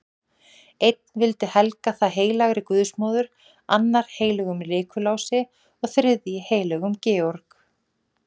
Einn vildi helga það heilagri guðsmóður, annar heilögum Nikulási og þriðji heilögum Georg.